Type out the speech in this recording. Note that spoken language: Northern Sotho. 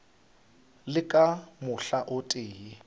le ka mohla o tee